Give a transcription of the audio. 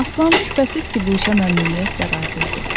Aslan şübhəsiz ki, bu işə məmnuniyyətlə razı idi.